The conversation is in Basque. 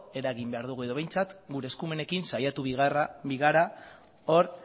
eragin behar dugu edo behintzat gure eskumenekin saiatu behar gara hor